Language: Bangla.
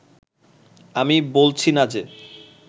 আমি বলছি না যে